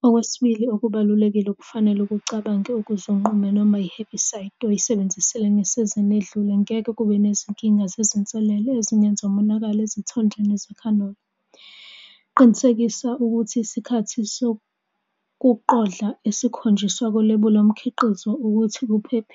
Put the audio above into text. Kubalimi abasebancane ngingathi- "Ezolimo zingumgogodla wawo wonke amanye amaphrofeshini - ngaphandle kolimo ngeke